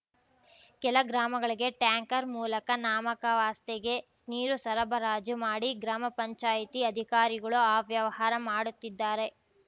ಕೆಲ ಗ್ರಾಮಗಳಿಗೆ ಟ್ಯಾಂಕರ್ ಮೂಲಕ ನಾಮಕಾವಸ್ಥೆಗೆ ನೀರು ಸರಬರಾಜು ಮಾಡಿ ಗ್ರಾಮಪಂಚಾಯ್ತಿ ಅಧಿಕಾರಿಗಳು ಅವ್ಯವಹಾರ ಮಾಡುತ್ತಿದ್ದಾರೆ